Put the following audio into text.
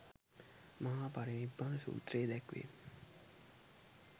මහා පරිනිබ්බාන සූත්‍රයේ දැක්වේ.